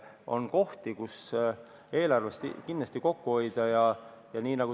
On kohti, kus eelarves saab kindlasti kokku hoida.